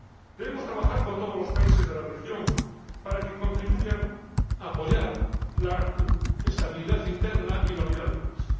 Debemos trabajar con todos los países de la región para que contribuyan a apoyar la estabilidad interna y la unidad del país.